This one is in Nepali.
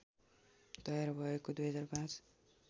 तयार भएको २००५